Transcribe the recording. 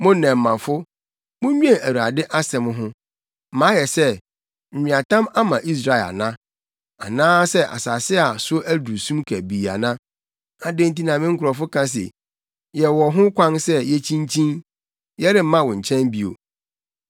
“Mo nnɛmmafo, munnwen Awurade asɛm ho: “Mayɛ sɛ, nweatam ama Israel ana? Anaasɛ asase a so aduru sum kabii ana? Adɛn nti na me nkurɔfo ka se, ‘Yɛwɔ ho kwan sɛ yekyinkyin; yɛremma wo nkyɛn bio.’